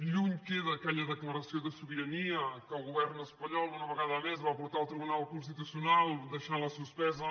lluny queda aquella declaració de sobirania que el govern espanyol una vegada més va portar al tribunal constitucional deixant·la suspesa